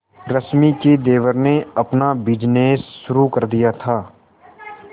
रश्मि के देवर ने अपना बिजनेस शुरू कर दिया था